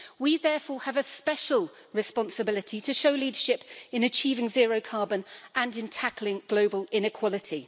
We therefore have a special responsibility to show leadership in achieving zero carbon and in tackling global inequality.